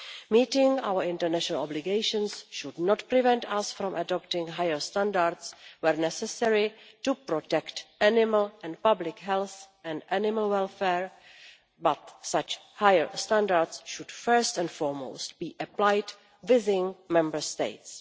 Meeting our international obligations should not prevent us from adopting higher standards where necessary to protect animal and public health and animal welfare, but such higher standards should, first and foremost, be applied within Member States.